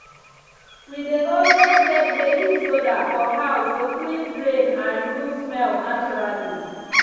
we dey always get baking soda for house to clean drain and remove smell naturally.